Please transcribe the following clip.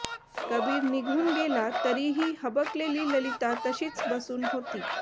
कबीर निघून गेला तरीही हबकलेली ललिता तशीच बसून होती